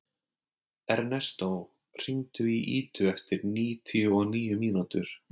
Ernestó, hringdu í Idu eftir níutíu og níu mínútur.